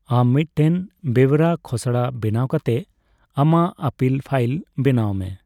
ᱟᱢ ᱢᱤᱫᱴᱮᱱ ᱵᱮᱣᱨᱟ ᱠᱷᱚᱥᱲᱟ ᱵᱮᱱᱟᱣ ᱠᱟᱛᱮ ᱟᱢᱟᱜ ᱟᱯᱤᱞ ᱯᱷᱟᱭᱤᱞ ᱵᱮᱱᱟᱣ ᱢᱮ ᱾